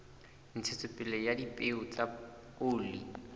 ntshetsopele ya dipeo tsa oli